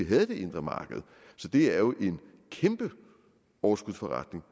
havde det indre marked så det er jo en kæmpe overskudsforretning